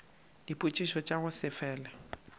dipotšišo tša go se fele